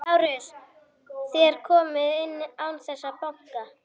LÁRUS: Þér komið inn án þess að banka.